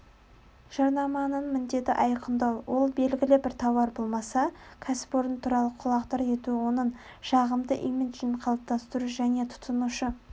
жарнаманың міндеті айқындау ол белгілі бір тауар болмаса кәсіпорын туралы құлағдар ету оның жағымды имиджін қалыптастыру және тұтынушы